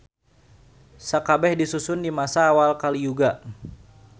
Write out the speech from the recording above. Sakabeh disusun di masa awal Kaliyuga.